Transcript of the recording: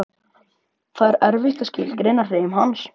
Það er erfitt að skilgreina hreim hans.